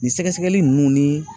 Nin sɛgɛsɛgɛli nunnu ni